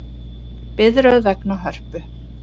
Biðröð vegna Hörpu